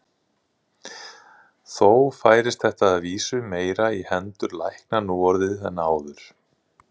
Þó færist þetta að vísu meira í hendur lækna nú orðið en áður.